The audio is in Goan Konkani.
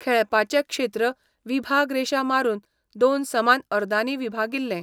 खेळपाचें क्षेत्र 'विभाग रेशा' मारून दोन समान अर्दांनी विभागिल्लें.